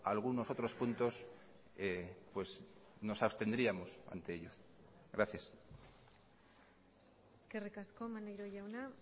algunos otros puntos nos abstendríamos ante ellos gracias eskerrik asko maneiro jauna